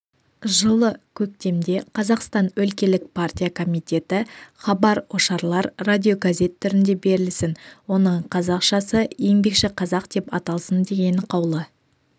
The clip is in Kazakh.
жылы көктемде қазақстан өлкелік партия комитеті хабар-ошарлар радиогазет түрінде берілсін оның қазақшасы еңбекші қазақ деп аталсын деген қаулы